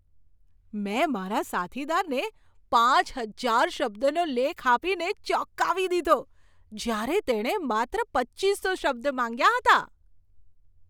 મેં મારા સાથીદારને પાંચ હજાર શબ્દનો લેખ આપીને ચોંકાવી દીધો જ્યારે તેણે માત્ર પચ્ચીસો શબ્દ માંગ્યા હતા.